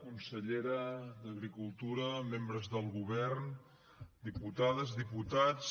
consellera d’agricultura membres del govern diputades diputats